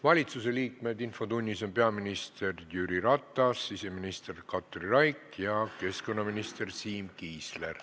Valitsusliikmetest on infotunnis peaminister Jüri Ratas, siseminister Katri Raik ja keskkonnaminister Siim Kiisler.